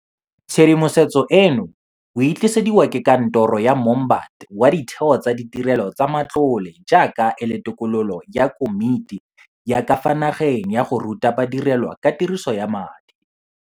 Tshedimosetso eno o e tlisediwa ke Kantoro ya Moombate wa Ditheo tsa Ditirelo tsa Matlole jaaka e le tokololo ya Komiti ya ka fa Nageng ya go Ruta Ba direlwa ka Tiriso ya Madi.